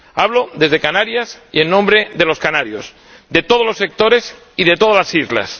Hablo desde Canarias y en nombre de los canarios de todos los sectores y de todas las islas.